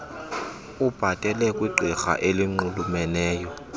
ubhatele kwigqirha elinxulumeneyo